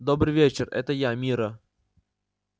добрый вечер это я мирра